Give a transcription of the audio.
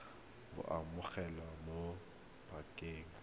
bo amogelwa mo pakeng ya